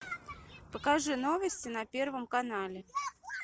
покажи новости на первом канале